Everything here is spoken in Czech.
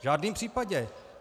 V žádném případě.